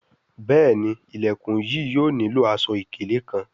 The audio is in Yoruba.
Béèni Ilẹkùn yìí yóò nilo aṣọ-ikele kán.